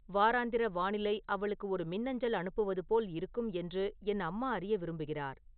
வாராந்திர வானிலை அவளுக்கு ஒரு மின்னஞ்சல் அனுப்புவது போல் இருக்கும் என்று என் அம்மா அறிய விரும்புகிறார்